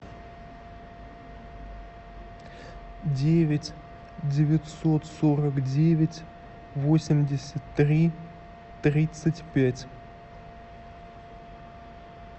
девять девятьсот сорок девять восемьдесят три тридцать пять